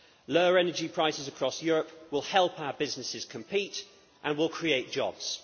Lower energy prices across Europe will help our businesses compete and will create jobs.